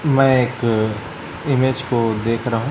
मैं एक इमेज को देख रहा हूं।